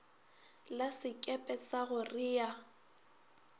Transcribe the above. la sekepe sa go rea